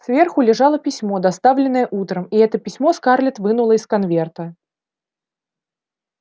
сверху лежало письмо доставленное утром и это письмо скарлетт вынула из конверта